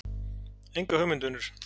Enga hugmynd vinur.